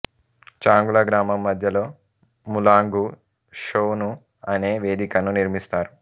చాంగుల గ్రామం మధ్యలో ముల్లాంగు షోను అనే వేదికను నిర్మిస్తారు